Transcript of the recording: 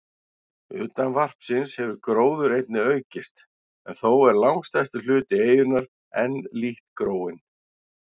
Utan varpsins hefur gróður einnig aukist, en þó er langstærstur hluti eyjunnar enn lítt gróinn.